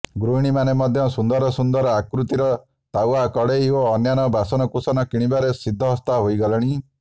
ଗୃହିଣୀମାନେ ମଧ୍ୟ ସୁନ୍ଦରସୁନ୍ଦର ଆକୃତିର ତାୱା କଡେଇ ଓ ଅନ୍ୟାନ୍ୟ ବାସନକୁସନ କିଣିବାରେ ସିଦ୍ଧହସ୍ତା ହୋଇଗଲେଣି